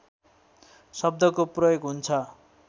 शब्दको प्रयोग हुन्छ